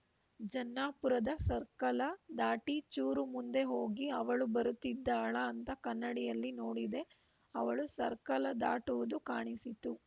ಜನ್ನಾಪುರದ circle ದಾಟಿ ಚೂರು ಮುಂದೆ ಹೋಗಿ ಅವಳು ಬರುತ್ತಿದ್ದಾಳಾ ಅಂತ ಕನ್ನಡಿಯಲ್ಲಿ ನೋಡಿದೆ ಅವಳು ಸರ್ಕಲ ದಾಟುವುದು ಕಾಣಿಸಿತು